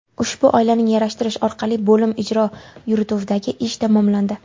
Ushbu oilaning yarashtirish orqali bo‘lim ijro yurituvidagi ish tamomlandi.